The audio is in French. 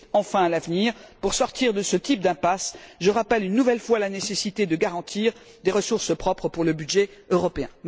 Enfin, à l'avenir, pour sortir de ce type d'impasse, je rappelle une nouvelle fois la nécessité de garantir des ressources propres pour le budget européen.